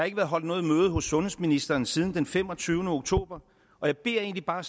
ikke været holdt noget møde hos sundhedsministeren siden den femogtyvende oktober og jeg beder egentlig bare